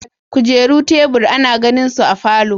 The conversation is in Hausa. kujeru, tebur, ana gani su a falo.